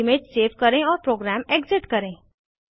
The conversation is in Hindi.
इमेज सेव करें और प्रोग्राम एग्ज़िट करें